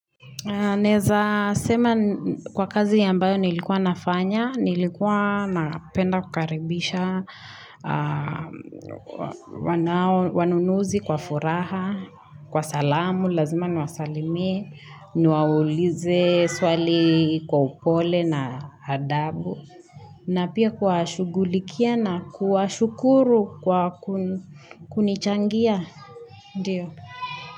Naeza sema kwa kazi ambayo nilikuwa nafanya, nilikuwa napenda kukaribisha, wanunuzi kwa furaha, kwa salamu, lazima niwasalimie, niwaulize swali kwa upole na adabu, na pia kuwashugulikia na kuwashukuru kwa kunichangia.